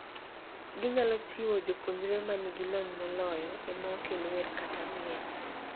Ginyalo chiwo jopuonjre manigi lony moloyo ema okel wer kata miel.